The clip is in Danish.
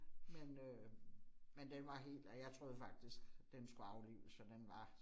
Men øh men den var helt, og jeg troede faktisk den skulle aflives for den var